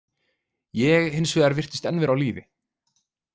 Ég, hins vegar, virtist enn vera á lífi.